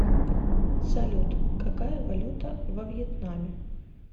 салют какая валюта во вьетнаме